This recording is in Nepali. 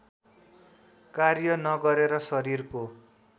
कार्य नगरेर शरीरको